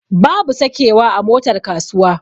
Babu sakewa a motar kasuwa.